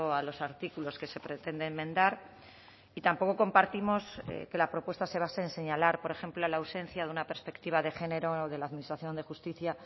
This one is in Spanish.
a los artículos que se pretende enmendar y tampoco compartimos que la propuesta se base en señalar por ejemplo la ausencia de una perspectiva de género de la administración de justicia